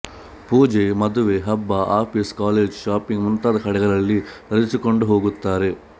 ಪೂಜೆ ಮದುವೆ ಹಬ್ಬ ಆಫೀಸ್ ಕಾಲೇಜು ಶಾಪಿಂಗ್ ಮುಂತಾದ ಕಡೆಗಳಲ್ಲಿ ಧರಿಸಿಕೊಂಡು ಹೋಗುತ್ತಾರೆ